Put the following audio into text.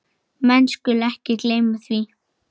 Menn skulu ekki gleyma því.